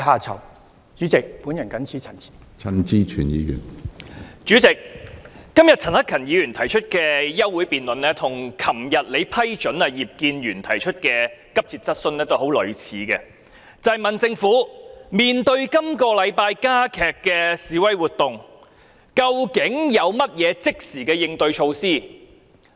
主席，陳克勤議員今天提出的休會待續議案，內容與你昨天批准葉建源議員提出的急切質詢相當類似，皆是詢問政府面對本周加劇的示威活動，究竟有何即時應對措施？